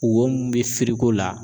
Wo mun bɛ firiko la.